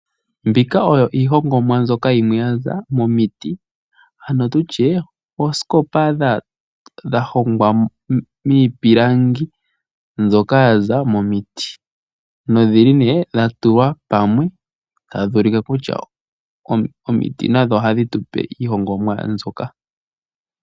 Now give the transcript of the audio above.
Mbika oyo iihongomwa mbyoka ya za miiti, ano oosikopa dha hongwa miipilangi mbyoka ya za momiti nodha tulwa pamwe tadhi ulike kutya omiti nadho ohadhi tu pe iihongomwa mbyoka.